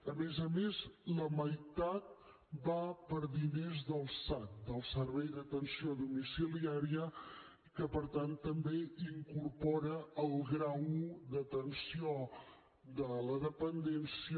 a més a més la meitat va per a diners del sad del servei d’atenció domiciliària que per tant també incorpora el grau d’atenció de la dependència